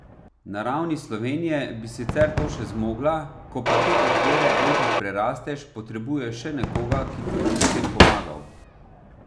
Na ravni Slovenije bi sicer to še zmogla, ko pa te okvire enkrat prerasteš, potrebuješ še nekoga, ki ti bo pri tem pomagal.